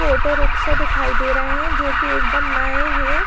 Auto rickshaw दे रहे है जो की एकदम नए है।